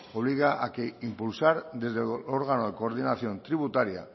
obliga a que impulsar desde el órgano de coordinación tributaria